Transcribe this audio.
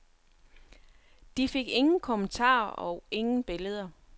De fik ingen kommentarer og ingen billeder.